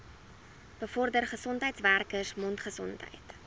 bevorder gesondheidswerkers mondgesondheid